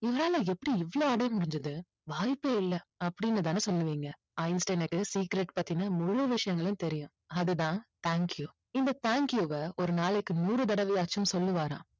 இவரால எப்படி இவ்ளோ அடைய முடிஞ்சது வாய்ப்பே இல்லை அப்படின்னு தானே சொல்லுவீங்க. ஐன்ஸ்டைனுக்கு secret பத்தின முழு விஷயங்களும் தெரியும். அதுதான் thank you இந்த thank you வ ஒரு நாளைக்கு நூறு தடவையாச்சும் சொல்லுவாராம்.